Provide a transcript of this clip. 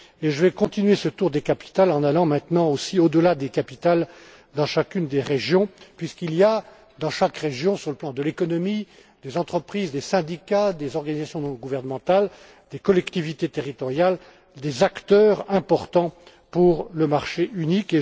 Je vais continuer ce tour des capitales en allant maintenant, au delà des capitales, dans chacune des régions, puisqu'il y a dans chaque région, sur le plan de l'économie, des entreprises, des syndicats, des organisations non gouvernementales, des collectivités territoriales et des acteurs importants pour le marché unique.